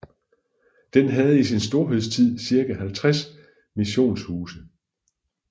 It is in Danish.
Den havde i sin storhedstid cirka 50 missionshuse